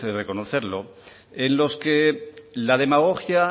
reconocerlo en los que la demagogia